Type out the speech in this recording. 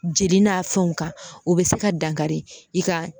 Jeli n'a fɛnw kan o be se ka dankari i ka